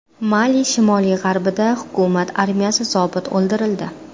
Mali shimoli-g‘arbida hukumat armiyasi zobiti o‘ldirildi.